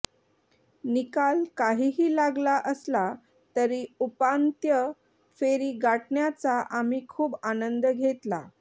निकाल काहीही लागला असला तरी उपांत्य फेरी गाठण्याचा आम्ही खूप आनंद घेतला